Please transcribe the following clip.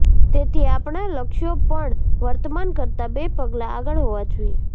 તેથી આપણા લક્ષ્યો પણ વર્તમાન કરતા બે પગલા આગળ હોવા જોઈએ